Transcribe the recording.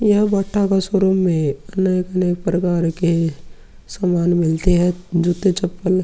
यह Bata showroom हे । अलग-अलग प्रकार के सामान मिलते हैं जूते-चप्पल --